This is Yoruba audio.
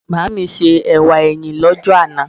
Màmá mi se ẹ̀wà ẹyin l'ọ́jọ́ àná